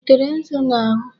Ị tere nzu n'ahụ?